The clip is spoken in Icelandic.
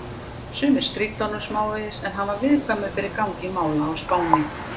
Sumir stríddu honum smávegis, en hann var viðkvæmur fyrir gangi mála á Spáni.